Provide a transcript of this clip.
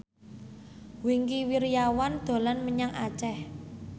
Wingky Wiryawan dolan menyang Aceh